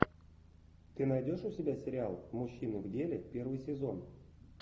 ты найдешь у себя сериал мужчины в деле первый сезон